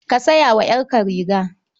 Ka saya wa 'yarka riga.